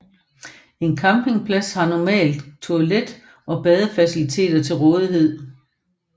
En campingplads har normalt toilet og badefaciliteter til rådighed